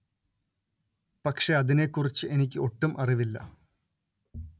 പക്ഷെ അതിനെ കുറിച്ച് എനിക്കു ഒട്ടും അറിവില്ല